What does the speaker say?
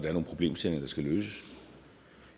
er nogle problemstillinger der skal løses